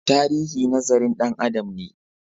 Tarihi nazarin Dan Adam ne